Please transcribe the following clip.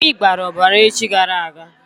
Imi gbara ọbara echi gara aga.